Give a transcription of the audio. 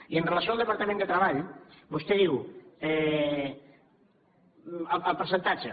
i amb relació al departament de treball vostè diu el percentatge